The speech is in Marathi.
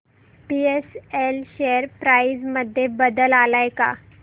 बीएसएल शेअर प्राइस मध्ये बदल आलाय का